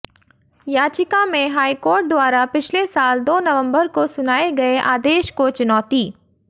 याचिका में हाईकोर्ट द्वारा पिछले साल दो नवंबर को सुनाए गए आदेश को चुनौती